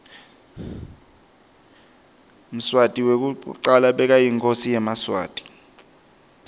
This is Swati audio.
mswati wekucala bekayinkhosi yemaswati